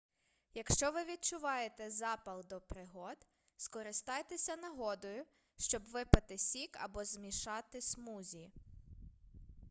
якщо ви відчуваєте запал до пригод скористайтеся нагодою щоб випити сік або змішати смузі